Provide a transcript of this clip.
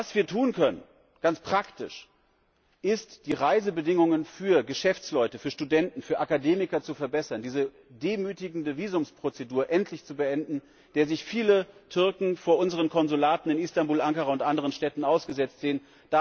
Was wir ganz praktisch tun können, ist, die Reisebedingungen für Geschäftsleute, für Studenten, für Akademiker zu verbessern, diese demütigende Visumsprozedur endlich zu beenden, der sich viele Türken vor unseren Konsulaten in Istanbul, Ankara und anderen Städten ausgesetzt sehen.